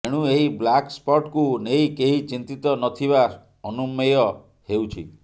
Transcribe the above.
ଏଣୁ ଏହି ବ୍ଲାକସ୍ପଟ୍କୁ ନେଇ କେହି ଚିନ୍ତିତ ନଥିବା ଅନୁମେୟ ହେଉଛି